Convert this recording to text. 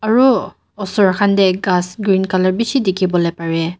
aru osor khan te ghas green colour khan bishi dikhi bole pare.